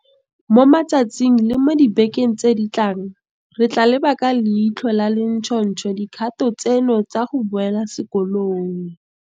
Mo matsatsing le mo dibekeng tse di tlang, re tla leba ka leitlho le le ntšhotšho dikgato tseno tsa go boela sekolong.